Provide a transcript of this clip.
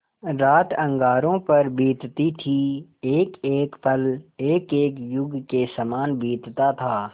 रात अंगारों पर बीतती थी एकएक पल एकएक युग के सामान बीतता था